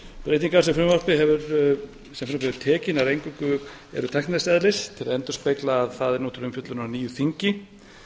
breytingar sem frumvarpið hefur tekið eru nær eingöngu tæknilegs eðlis til að endurspegla að það er nú til umfjöllunar á nýju þingi